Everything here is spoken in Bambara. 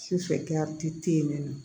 Sufɛ tɛ yen nɔ